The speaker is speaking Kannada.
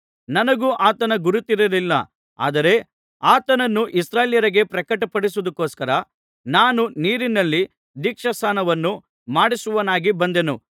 ನನಗೂ ಆತನ ಗುರುತಿರಲಿಲ್ಲ ಆದರೆ ಆತನನ್ನು ಇಸ್ರಾಯೇಲ್ಯರಿಗೆ ಪ್ರಕಟಪಡಿಸುವುದಕ್ಕೊಸ್ಕರ ನಾನು ನೀರಿನಲ್ಲಿ ದೀಕ್ಷಾಸ್ನಾನವನ್ನು ಮಾಡಿಸುವವನಾಗಿ ಬಂದೆನು